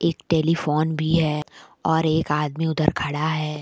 एक टेलीफोन भी है और एक आदमी उधर खड़ा है।